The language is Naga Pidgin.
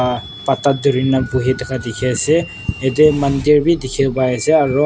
ah pata dhurina buhi thaka dikhi ase yate mandir wi dikhi pai ase aro--